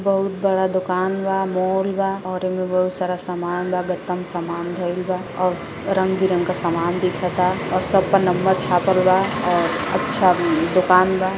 बहुत बड़ा दोकान बा। मॉल बा और एमे बहुत सारा सामान बा। गत्ता में सामान धइल बा और रंग बिरंगा सामान दिखता और सबप नंबर छापल बा और अच्छा दोकान बा।